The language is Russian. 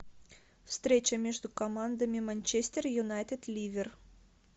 встреча между командами манчестер юнайтед ливер